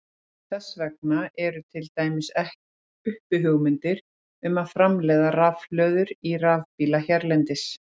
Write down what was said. Þess vegna eru til dæmis uppi hugmyndir um að framleiða rafhlöður í rafbíla hérlendis.